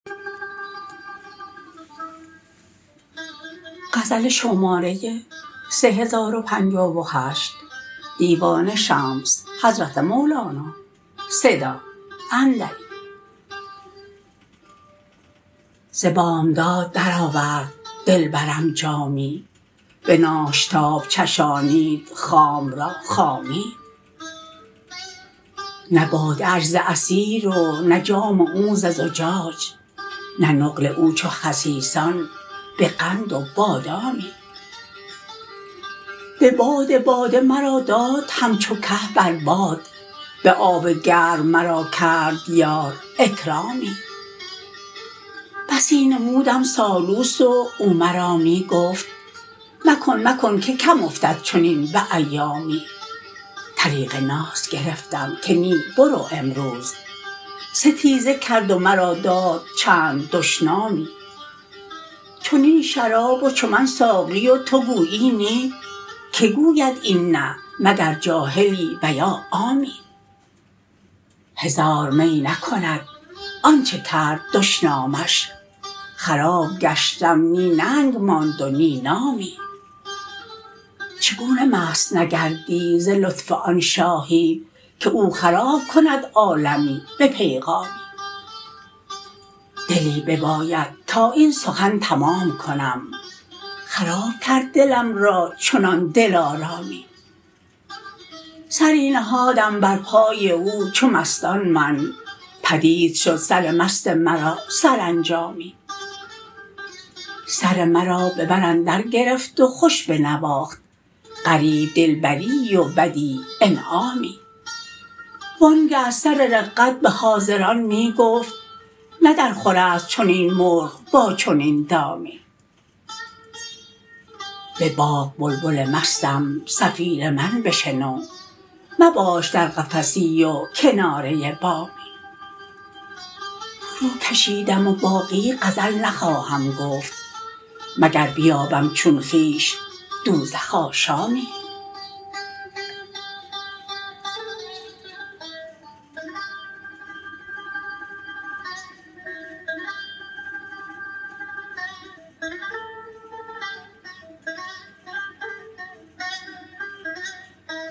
ز بامداد درآورد دلبرم جامی به ناشتاب چشانید خام را خامی نه باده اش ز عصیر و نه جام او ز زجاج نه نقل او چو خسیسان به قند و بادامی به باد باده مرا داد همچو که بر باد به آب گرم مرا کرد یار اکرامی بسی نمودم سالوس و او مرا می گفت مکن مکن که کم افتد چنین به ایامی طریق ناز گرفتم که نی برو امروز ستیزه کرد و مرا داد چند دشنامی چنین شراب و چو من ساقی و تو گویی نی کی گوید این نه مگر جاهلی و یا عامی هزار می نکند آنچ کرد دشنامش خراب گشتم نی ننگ ماند و نی نامی چگونه مست نگردی ز لطف آن شاهی که او خراب کند عالمی به پیغامی دلی بیابد تا این سخن تمام کنم خراب کرد دلم را چنان دلارامی سری نهادم بر پای او چو مستان من پدید شد سر مست مرا سرانجامی سر مرا به بر اندرگرفت و خوش بنواخت غریب دلبریی و بدیع انعامی وانگه از سر دقت به حاضران می گفت نه درخورست چنین مرغ با چنین دامی به باغ بلبل مستم صفیر من بشنو مباش در قفسی و کناره بامی فروکشیدم و باقی غزل نخواهم گفت مگر بیابم چون خویش دوزخ آشامی